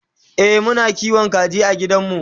e Muna kiwon kaji a gidanmu